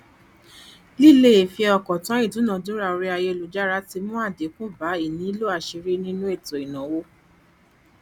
lílefiọkàntán ìdúnadúrà orí ayélujára ti mú àdínkù bá ìnílò àṣírí nínú ètò ìnáwó